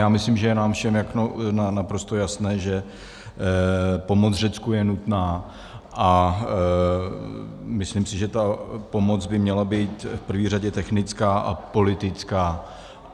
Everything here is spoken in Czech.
Já myslím, že je nám všem naprosto jasné, že pomoc Řecku je nutná, a myslím si, že ta pomoc by měla být v prvé řadě technická a politická.